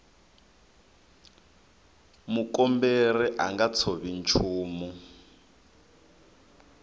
mukomberi a nga tshovi nchumu